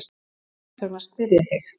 Þess vegna spyr ég þig.